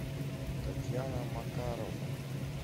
татьяна макарова